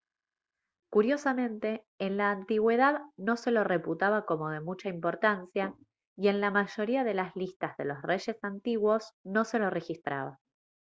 curiosamente en la antigüedad no se lo reputaba como de mucha importancia y en la mayoría de las listas de los reyes antiguos no se lo registraba